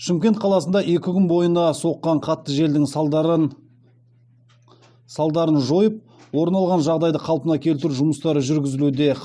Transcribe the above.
шымкент қаласында екі күн бойына соққан қатты желдің салдарын жойып орын алған жағдайды қалпына келтіру жұмыстары жүргізілуде